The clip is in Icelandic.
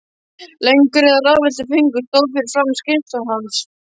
Löng röð af ráðvilltum föngum stóð fyrir framan skrifstofu hans.